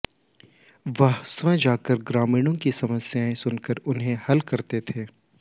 वह स्वंय जाकर ग्रामीणों की समस्याएं सुनकर उन्हें हल करते थे